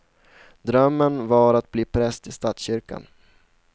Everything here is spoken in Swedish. Drömmen var att bli präst i statskyrkan.